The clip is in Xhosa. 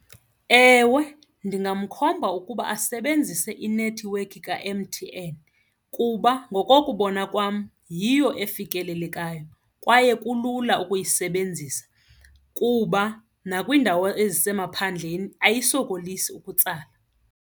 Ewe, ndingamkhomba ukuba asebenzise inethiwekhi ka-M_T_N kuba ngokokubona kwam yiyo efikelelekayo kwaye kulula ukuyisebenzisa kuba nakwiindawo ezisemaphandleni ayisokolisi ukutsala.